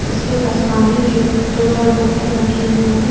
उसके पास पानी के दो चार बोतल रखे हुए हैं।